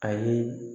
A ye